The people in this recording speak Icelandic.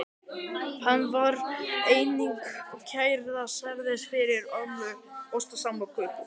Hann var einnig kærður sérstaklega fyrir ósæmilega hegðun.